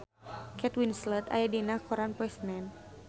Kate Winslet aya dina koran poe Senen